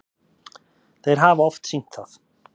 Þeir hafa oft sýnt það.